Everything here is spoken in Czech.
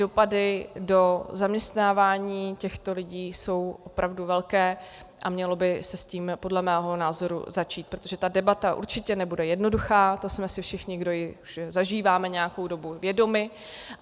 Dopady do zaměstnávání těchto lidí jsou opravdu velké a mělo by se s tím podle mého názoru začít, protože ta debata určitě nebude jednoduchá, toho jsme si všichni, kdo ji už zažíváme nějakou dobu, vědomi.